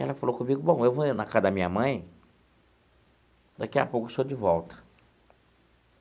Ela falou comigo, bom, eu vou ali na casa da minha mãe, daqui a pouco estou de volta.